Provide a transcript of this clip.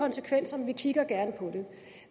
konsekvenser men vi kigger gerne på det